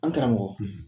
An karamɔgɔ